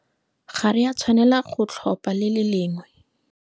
Ga re a tshwanela go tlhopha le le lengwe.